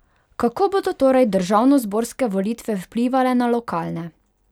Kako bodo torej državnozborske volitve vplivale na lokalne?